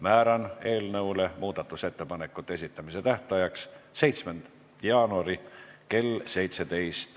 Määran eelnõu muudatusettepanekute esitamise tähtajaks 7. jaanuari kell 17.